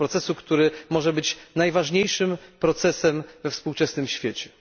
Tego procesu, który może być najważniejszym procesem we współczesnym świecie.